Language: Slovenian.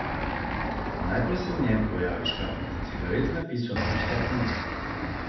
Najprej se v njem pojavi škatlica cigaret z napisom Ruska pomlad.